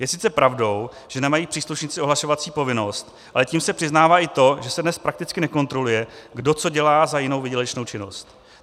Je sice pravdou, že nemají příslušníci ohlašovací povinnost, ale tím se přiznává i to, že se dnes prakticky nekontroluje, kdo co dělá za jinou výdělečnou činnost.